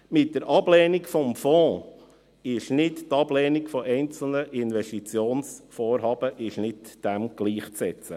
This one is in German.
Mit der Ablehnung des Fonds ist nicht die Ablehnung einzelner Investitionsvorhaben gleichzusetzen.